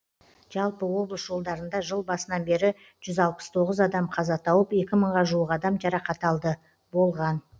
жалпы облыс жолдарында жыл басынан бері жүз алпыс тоғыз адам қаза тауып екі мыңға жуық адам жарақат алды болған